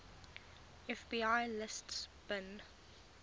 fbi lists bin